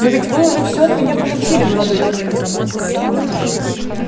но ведь вы уже всё от меня получили молодой человек